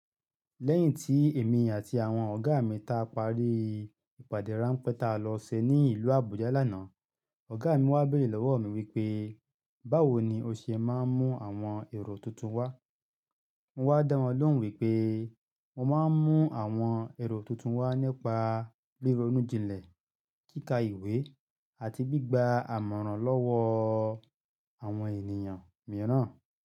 Lẹ́yìn tí èmi àti àwọn ọ̀gá mi ta parí ìpàdé ráńpẹ́ ta lọ ṣe ní ìlú Àbújá lánàá, ọ̀gá mi wá béèrè lọ́wọ́ mi wípé, "Báwo ni o ṣe máa ń mú àwọn èrò tuntun wá?" Mo wá dá wọn lóhùn wípé mo máa ń mú àwọn èrò tuntun wá nípa rironu jìnlẹ̀, kíkà ìwé àti gbígba àmọ̀ràn lọ́wọ́ àwọn ènìyàn mìíràn.